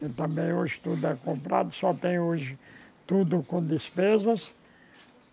Também hoje tudo é comprado, só tem hoje tudo com despesas.